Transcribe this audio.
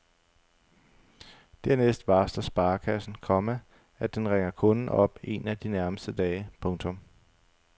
Dernæst varsler sparekassen, komma at den ringer kunden op en af de nærmeste dage. punktum